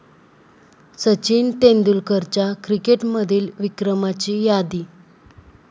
सचिन तेंडुलकरच्या क्रिकेटमधील विक्रमाची यादी